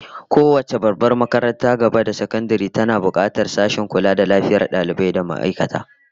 Kowace babbar makarantar gaba da sakandare tana bukatar sashen kula da lafiyar ma'aikata da dalibai